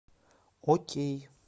окей